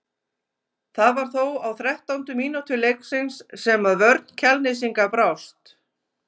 Það var þó á þrettándu mínútu leiksins sem að vörn Kjalnesinga brást.